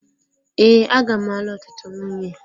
Ee aga m alụ ọtụtụ nwunye.